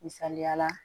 Misaliyala